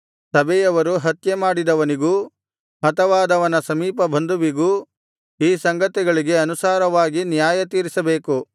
ಸಭೆಯವರು ಹತ್ಯೆಮಾಡಿದವನಿಗೂ ಹತವಾದವನ ಸಮೀಪಬಂಧುವಿಗೂ ಈ ಸಂಗತಿಗಳಿಗೆ ಅನುಸಾರವಾಗಿ ನ್ಯಾಯತೀರಿಸಬೇಕು